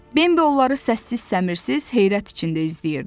Bembi onları səssiz-səmirsiz heyrət içində izləyirdi.